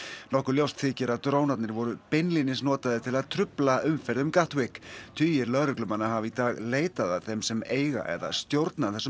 nokkuð ljóst þykir að drónanir voru beinlínis notaðir til að trufla umferð um tugir lögreglumanna hafa í dag leitað að þeim sem eiga eða stjórna þessum